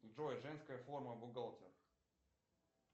джой женская форма бухгалтер